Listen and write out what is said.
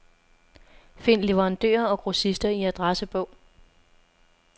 Find leverandører og grossister i adressebog.